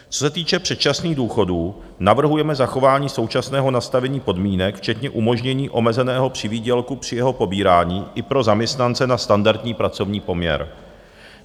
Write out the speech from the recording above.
Co se týče předčasných důchodů, navrhujeme zachování současného nastavení podmínek včetně umožnění omezeného přivýdělku při jeho pobírání i pro zaměstnance na standardní pracovní poměr.